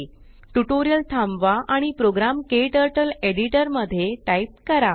tutorial थांबवा आणि program KTurtle editor मध्ये टाइप करा